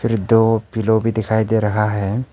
और दो पिलो भी दिखाई दे रहा है।